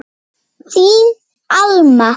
Þín Alma.